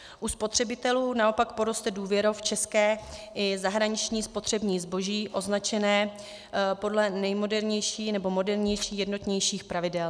U spotřebitelů naopak poroste důvěra v české i zahraniční spotřební zboží označené podle nejmodernějších nebo modernějších jednotných pravidel.